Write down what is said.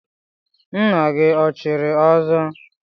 Nna gị o chiri ọzọ?